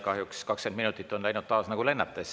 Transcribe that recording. Kahjuks on 20 minutit läinud taas nagu lennates.